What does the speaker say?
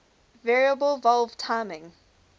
variable valve timing